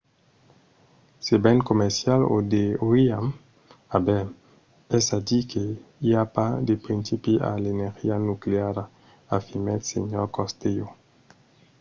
"se ven comercial o deuriam aver. es a dire que i a pas de principi a l'energia nucleara afirmèt sr. costello